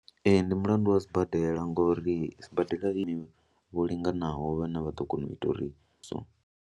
Ee, ndi mulandu wa sibadela ngori sibadela i na vhaongi vho linganaho vhane vha ḓo kona u ita uri so.